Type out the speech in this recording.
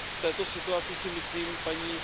V této situaci si myslím, paní